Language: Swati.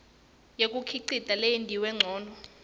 yekukhicita leyentiwe ncono